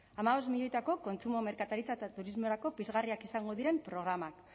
hamabost milioitako kontsumo merkataritza eta turismorako pizgarriak izango diren programak